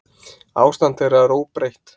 Ástand þeirra er óbreytt.